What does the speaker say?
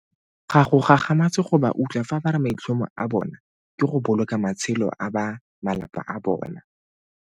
Ga go gagamatse go ba utlwa fa ba re maitlhomo a bona ke go boloka matshelo a ba malapa a bona.